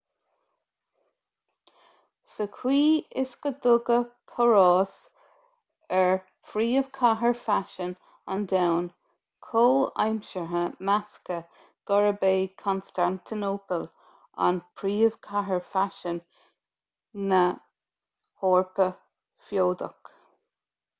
sa chaoi is go dtugadh páras ar phríomhchathair faisin an domhain chomhaimseartha measadh gurb é constantinople an príomhchathair faisin na heorpa feodach